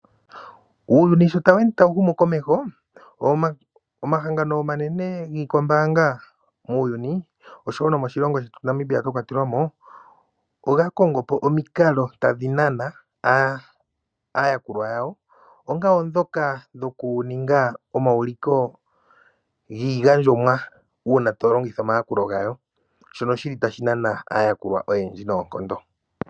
Uuyuni shi tawu ende tawu humu komeho, omahangano omanene giikwambaanga muuyuni osho wo Namibia a kwatelwa mo, oga kongo po omikalo tadhi nana aayakulwa yawo; mwa kwatelwa ndhoka dhokuninga omauliko giigandjomwa uuna to longitha omayakulo gawo, shono tashi nana aayakulwa oyendji noonkondo.